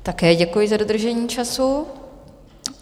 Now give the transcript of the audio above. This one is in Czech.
Také děkuji za dodržení času.